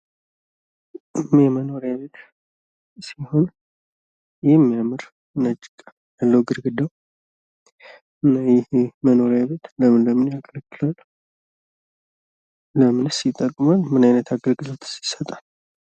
የመኖሪያ ቤት ሲሆን የሚያምር ነጭ ቀለም አለው ግድግዳው። እና ይሄ መኖሪያ ቤት ለምን ለምን ያገለግላል? ለምንስ ይጠቅማል? ምን አይነት አገልግሎትስ ይሰጣል ?